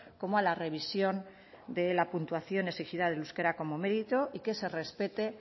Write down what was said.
como a la revisión de la puntuación exigida del euskera como mérito y que se respete